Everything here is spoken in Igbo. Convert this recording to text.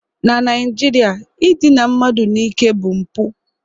Na Naijiria, idina mmadụ n'ike bụ mpụ